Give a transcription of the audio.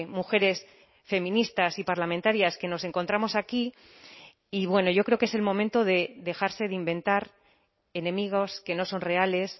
mujeres feministas y parlamentarias que nos encontramos aquí y bueno yo creo que es el momento de dejarse de inventar enemigos que no son reales